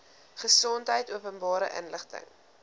gesondheid openbare inligting